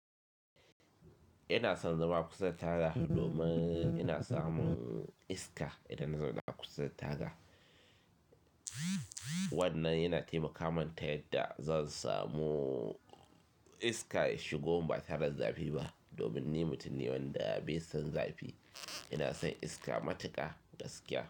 Ina son zama kusa da taga domin ina samu iska idan na zo da ku saita da. Wannan yana taimaka manta yadda za su samu iska ya shigo ba tare da zafi ba domin ni mutum ne wanda bai san zafi. Ina son iska matuka gaskiya.